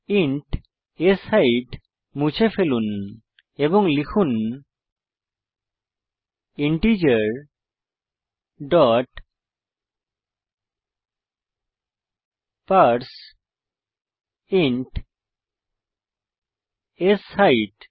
int শেইট মুছে ফেলুন এবং লিখুন ইন্টিজার ডট পারসেইন্ট শেইট